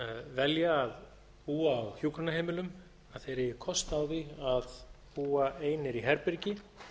velja að búa á hjúkrunarheimilum eigi kost á því að búa einir í herbergi